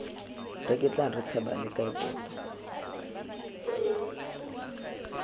reketlang re tshabale kae tota